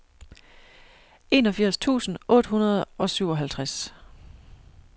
enogfirs tusind otte hundrede og syvoghalvtreds